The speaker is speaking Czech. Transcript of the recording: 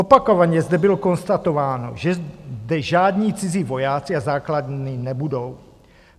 Opakovaně zde bylo konstatováno, že zde žádní cizí vojáci a základny nebudou.